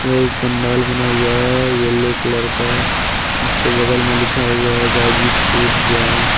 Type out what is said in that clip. यह एक पंडाल बना हुआ है येलो कलर का उसके बगल में लिखा हुआ है गाजीपुर जं--